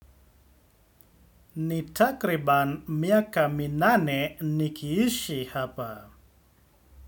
Ni takribani miaka minane nikiishi hapa.